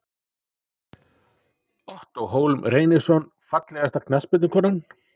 Ottó Hólm Reynisson Fallegasta knattspyrnukonan?